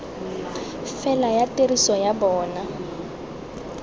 fela ya tiriso ya bona